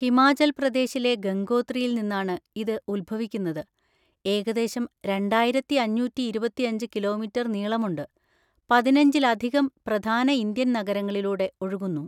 ഹിമാചൽ പ്രദേശിലെ ഗംഗോത്രിയിൽ നിന്നാണ് ഇത് ഉത്ഭവിക്കുന്നത്, ഏകദേശം രണ്ടായിരത്തി അഞ്ഞൂറ്റി ഇരുപത്തിയഞ്ച് കിലോമീറ്റർ നീളമുണ്ട്, പതിനഞ്ചിലധികം പ്രധാന ഇന്ത്യൻ നഗരങ്ങളിലൂടെ ഒഴുകുന്നു.